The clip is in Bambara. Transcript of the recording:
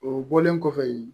O bɔlen kɔfɛ yen